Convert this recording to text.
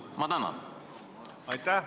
Ma tänan!